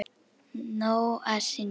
Nóg að sinni.